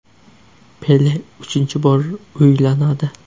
Pele uchinchi bor uylanadi.